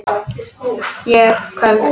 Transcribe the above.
Ég er köld.